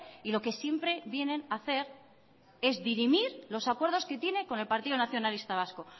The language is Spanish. y lo que siempre vienen hacer es dirimir los acuerdos que tiene con el partido nacionalista vasco